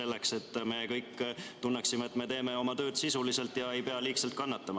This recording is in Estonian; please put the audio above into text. Nii me kõik tunneksime, et teeme oma tööd sisuliselt, ja keegi ei peaks liigselt kannatama.